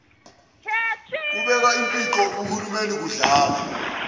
ubeka impoqo kuhulumeniukudlala